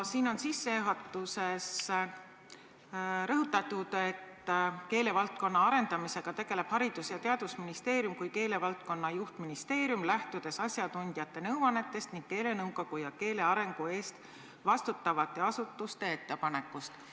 Siin on sissejuhatuses rõhutatud, et keelevaldkonna arendamisega tegeleb Haridus- ja Teadusministeerium kui keelevaldkonna juhtministeerium, lähtudes asjatundjate nõuannetest ning keelenõukogu ja keele arengu eest vastutavate asutuste ettepanekutest.